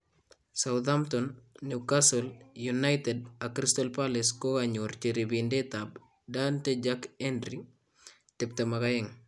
Southampton, Newcastle, United ak Crystal Palace kokanyororchi ribiindetab Dantee Jack Hendry , 22,